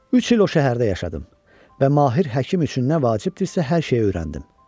Üç il o şəhərdə yaşadım və mahir həkim üçün nə vacibdirsə, hər şeyi öyrəndim.